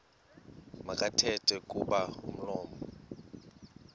makathethe kuba umlomo